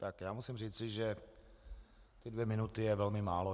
Tak já musím říci, že ty dvě minuty je velmi málo.